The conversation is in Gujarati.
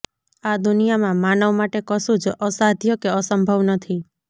આ દુનિયામાં માનવ માટે કશું જ અસાધ્ય કે અસંભવ નથી